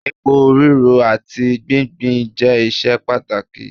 èpo riro ati gbingbin je iṣẹ pàtàkì